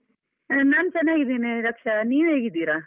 ನಾನ್ ಚೆನ್ನಾಗಿದ್ದೀನಿ ರಕ್ಷಾ, ನೀವ್ ಹೇಗಿದ್ದೀರಾ?